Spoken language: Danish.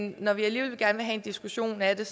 når vi alligevel gerne vil have en diskussion af det